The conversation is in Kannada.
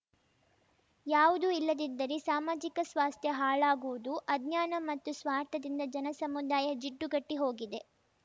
ಯಾವುದೂ ಇಲ್ಲದಿದ್ದರೆ ಸಾಮಾಜಿಕ ಸ್ವಾಸ್ಥ್ಯ ಹಾಳಾಗುವುದು ಅಜ್ಞಾನ ಮತ್ತು ಸ್ವಾರ್ಥದಿಂದ ಜನಸಮುದಾಯ ಜಿಡ್ಡುಗಟ್ಟಿಹೋಗಿದೆ